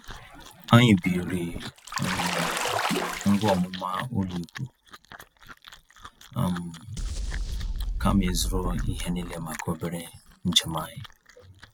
Anyị biiri um ngwa ọmụma ụlọikwuu, um kama ịzụrụ ihe niile maka obere njem anyị. um